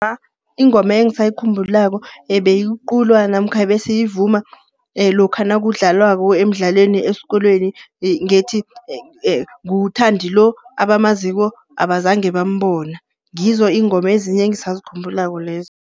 Ingoma engisayikhumbulako ebeyiculwa namkha ebesiyivuma lokha nakudlalwako emdlalweni esikolweni ngethi, nguThandi lo, abamaziko abazange bambona. Ngizo iingoma ezinye engisazikhumbulako lezo.